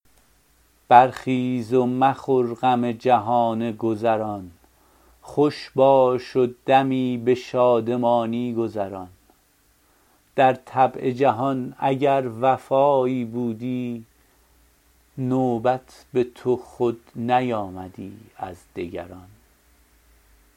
برخیز و مخور غم جهان گذران خوش باش و دمی به شادمانی گذران در طبع جهان اگر وفایی بودی نوبت به تو خود نیامدی از دگران